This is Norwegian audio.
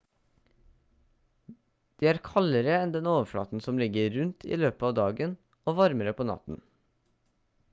de er kaldere enn den overflaten som ligger rundt i løpet av dagen og varmere på natten